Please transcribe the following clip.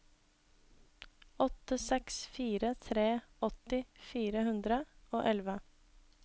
åtte seks fire tre åtti fire hundre og elleve